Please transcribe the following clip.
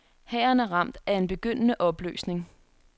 Hæren er ramt af en begyndende opløsning.